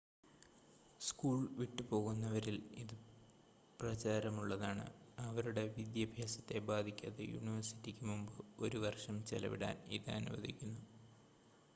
school വിട്ടുപോകുന്നവരിൽ ഇത് പ്രചാരമുള്ളതാണ് അവരുടെ വിദ്യാഭ്യാസത്തെ ബാധിക്കാതെ യൂണിവേഴ്സിറ്റിക്ക് മുമ്പ് ഒരു വർഷം ചെലവിടാൻ ഇത് അനുവദിക്കുന്നു